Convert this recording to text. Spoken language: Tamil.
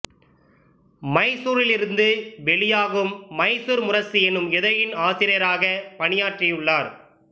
மைசூரிலிரிருந்து வெளியாகும் மைசூர் முரசு எனும் இதழின் ஆசிரியராகப் பணியாற்றியுள்ளார்